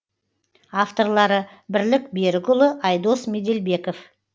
авторлары бірлік берікұлы айдос меделбеков